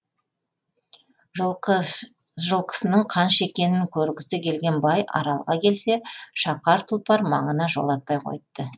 жылқысының қанша екенін көргісі келген бай аралға келсе шақар тұлпар маңына жолатпай қойыпты